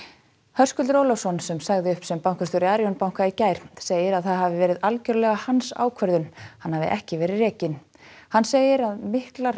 Höskuldur Ólafsson sem sagði upp sem bankastjóri Arion banka í gær segir að það hafi verið algjörlega hans ákvörðun hann hafi ekki verið rekinn hann segir að miklar